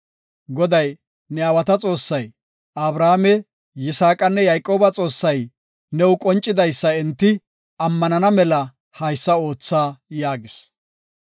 Goday, “Ne aawata Xoossay, Abrahaame, Yisaaqanne Yayqooba Xoossay new qoncidaysa enti ammanana mela haysa ootha” yaagis.